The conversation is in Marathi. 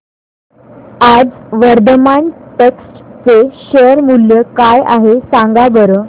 आज वर्धमान टेक्स्ट चे शेअर मूल्य काय आहे सांगा बरं